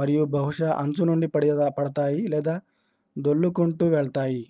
మరియు బహుశా అంచు నుండి పడతాయి లేదా దొల్లుకుంటూ వెళ్తాయి